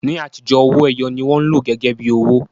Ní àtijọ́, owó ẹyọ ni wọ́n lò gẹ́gẹ́ bí owó